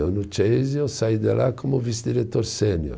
Eu no Chase, eu saí de lá como vice-diretor sênior.